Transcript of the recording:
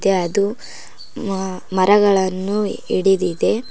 A ಅದು ಮ ಮರಗಳನ್ನು ಇಡಿದಿದೆ.